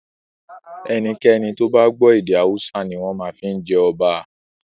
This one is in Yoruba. Ẹnikẹ́ni tó bá gbọ́ èdè Hausa ni wọ́n máa fi jẹ ọba.